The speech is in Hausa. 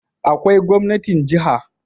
Akwai gwamnatin jiha